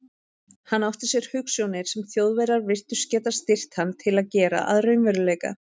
Hann átti sér hugsjónir, sem Þjóðverjar virtust geta styrkt hann til að gera að raunveruleika.